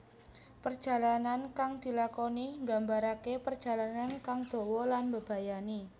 Perjalanan kang dilakoni nggambaraké parjalanan kang dawa lan mbebayani